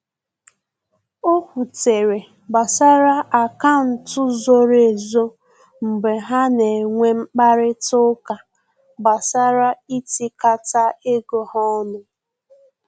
O kwutere gbasara akaụntụ zoro ezo mgbe ha na enwe mkparịta ụka gbasara itikata ego ha ọnụ